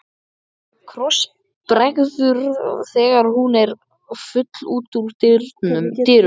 Krossbregður þegar hún er full út úr dyrum.